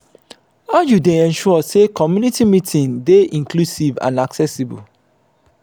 how you dey ensure say community meeting dey inclusive and accessible?